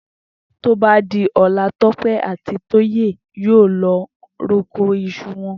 Tó bá di o̩la, Tó̩pé̩ àti Tóyè yóò lọ roko is̩u wo̩n